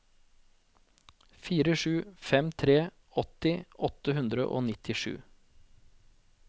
fire sju fem tre åtti åtte hundre og nittisju